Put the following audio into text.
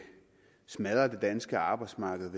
smadre det danske arbejdsmarked